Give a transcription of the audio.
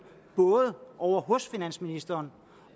både ovre hos finansministeren